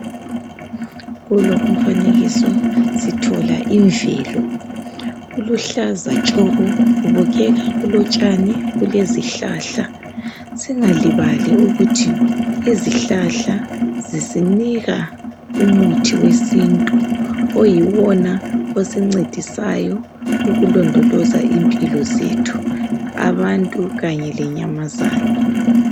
Kulo umfanekiso sithola imvelo .Kuluhlaza tshoko kubukeka kulotshani kulezihlahla. Singalibali ukuthi izihlahla zisinika umuthi wesintu .Oyiwona osincedisayo ukulondoloza impilo zethu abantu kanye lenyamazana.